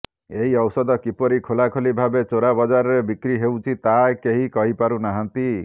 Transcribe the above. ଏହି ଔଷଧ କିପରି ଖୋଲାଖୋଲି ଭାବେ ଚୋରା ବଜାରରେ ବିକ୍ରି ହେଉଛି ତାହା କେହି କହିପାରୁ ନାହାଁନ୍ତି